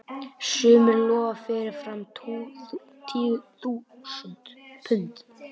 Sumir lofa fyrirfram tugþúsundum punda.